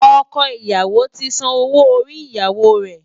Ọkọ ìyàwó ti san owó orí ìyàwó rẹ̀.